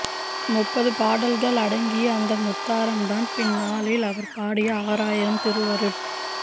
முப்பது பாடல்கள் அடங்கிய அந்த முத்தாரம்தான் பின்நாளில் அவர் பாடிய ஆறாயிரம் திருவருட்